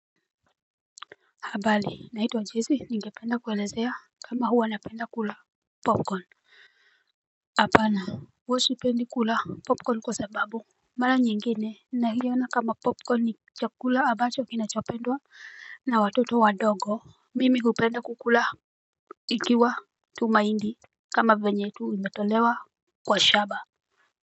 Habali naitwa Jesse ningependa kwelezea kama huwa napenda kula popcorn. Apana wosipendi kula popcorn kwa sababu mara nyingine na hiyona kama popcorn ni chakula abancho kinachopendwa na watoto wadogo. Mimi kupenda kukula ikiwa tumaindi kama venye tu imetolewa kwa shaba.